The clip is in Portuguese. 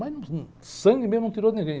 Mas num, num, sangue mesmo não tirou de ninguém.